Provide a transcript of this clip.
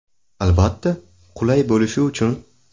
Albatta, qulay bo‘lishi uchun.